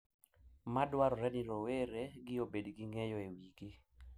Madwarore ni rowere gi obed gi ng`eyo e wigi.